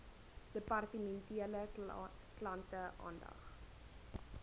departementele klante aandag